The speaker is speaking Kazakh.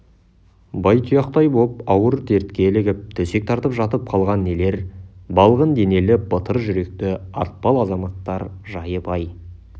байтұяқтай боп ауыр дертке ілігіп төсек тартып жатып қалған нелер балғын денелі батыр жүректі атпал азаматтар жайы бай